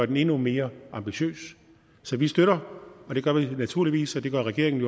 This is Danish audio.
den endnu mere ambitiøs så vi støtter naturligvis det gør regeringen